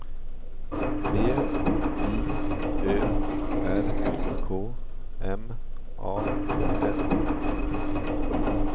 B J Ö R K M A N